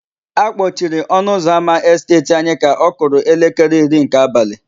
A kpọciri ọnụụzọámá Esteeti anyị ka ọ kụrụ elekere iri nke abalị.